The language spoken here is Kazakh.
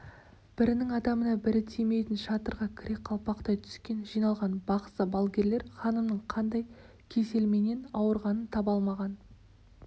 бірінің адамына бірі тимейтін шатырға кіре қалпақтай түскен жиналған бақсы-балгерлер ханымның қандай кеселменен ауырғанын таба алмаған